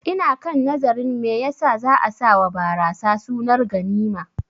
Ina kan nazarin me yasa za'a sawa barasa sunar ganima